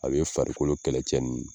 A bɛ ye farikolo kɛlɛcɛ ninnu